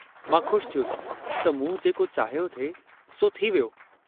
मां ख़ुशि थियुसि त मूं जेको चाहियो थिए सो थी वियो।